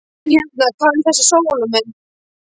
En hérna- hvað um þessa Salóme?